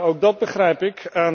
Ook dat begrijp ik.